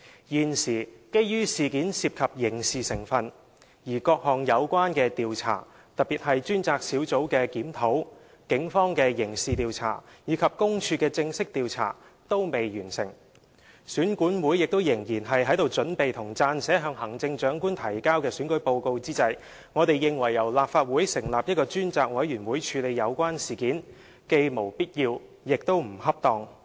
現時，基於事件涉及刑事成分，而各項有關調查，特別是專責小組的檢討、警方的刑事調查和公署的正式調查均未完成，選管會亦仍然在準備和撰寫向行政長官提交的選舉報告之際，我們認為由立法會成立一個專責委員會處理有關事件，既無必要，亦不恰當。